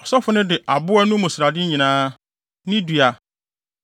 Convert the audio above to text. Ɔsɔfo no de aboa no mu srade nyinaa, ne dua,